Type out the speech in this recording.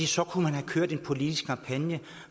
så kunne man have kørt en politisk kampagne